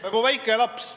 Nagu väike laps.